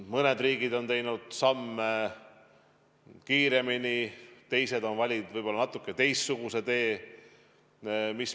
Mõned riigid on teinud samme kiiremini, teised on valinud võib-olla natuke teistsuguse tee.